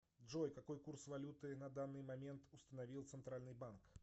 джой какой курс валюты на данный момент установил центральный банк